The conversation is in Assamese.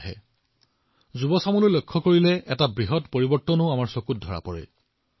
আৰু যেতিয়া আমি যুৱ প্ৰজন্মক ভালদৰে প্ৰত্যক্ষ কৰো আমি এক ডাঙৰ পৰিৱৰ্তন দেখিবলৈ পাওঁ